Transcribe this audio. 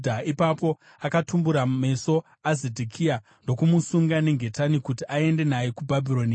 Ipapo akatumbura meso aZedhekia ndokumusunga nengetani kuti aende naye kuBhabhironi.